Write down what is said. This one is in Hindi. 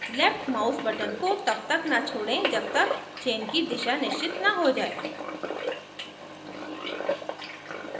left mouse button को तब तक न छोड़ें जब तक chain की दिशा निश्चित न हो जाये